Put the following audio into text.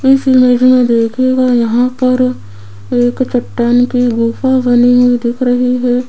इस इमेज में देखिएगा यहां पर एक चट्टान की गुफा बनी हुई दिख रही है।